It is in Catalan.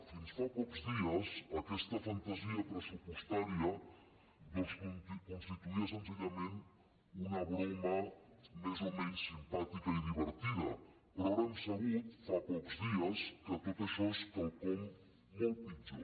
fins fa pocs dies aquesta fantasia pressupostària constituïa senzillament una broma més o menys simpàtica i divertida però ara hem sabut fa pocs dies que tot això és quelcom molt pitjor